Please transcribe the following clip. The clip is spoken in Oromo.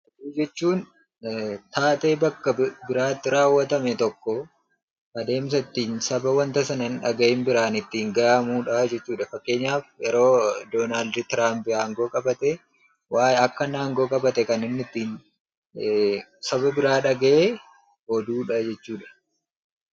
Oduu jechuun taatee ta'e tokko adeemsan ittiin namoota hin dhag'in jiran ittiin ga'anii dha. Fakkeenyaaf yeroo Donald Trump aangoon qabate akka inni qabate karaa namni ittiin dhaga'e oduu jechuu dha.